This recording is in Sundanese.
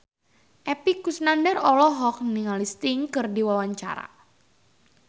Epy Kusnandar olohok ningali Sting keur diwawancara